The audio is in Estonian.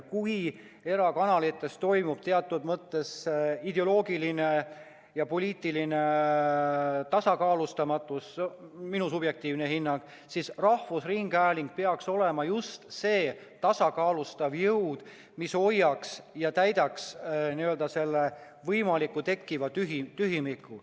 Kui erakanalites esineb teatud mõttes ideoloogilist ja poliitilist tasakaalustamatust – minu subjektiivsel hinnangul –, siis rahvusringhääling peaks olema just see tasakaalustav jõud, mis täidaks selle võimaliku tekkiva tühimiku.